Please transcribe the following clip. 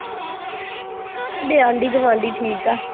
ਆਂਢੀ ਗੁਆਂਢੀ ਠੀਕ ਆ।